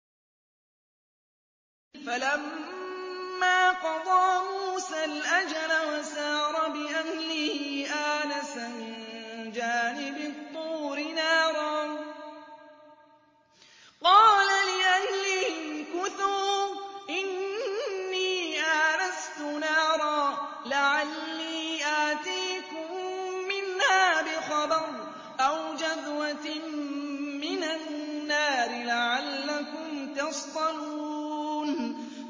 ۞ فَلَمَّا قَضَىٰ مُوسَى الْأَجَلَ وَسَارَ بِأَهْلِهِ آنَسَ مِن جَانِبِ الطُّورِ نَارًا قَالَ لِأَهْلِهِ امْكُثُوا إِنِّي آنَسْتُ نَارًا لَّعَلِّي آتِيكُم مِّنْهَا بِخَبَرٍ أَوْ جَذْوَةٍ مِّنَ النَّارِ لَعَلَّكُمْ تَصْطَلُونَ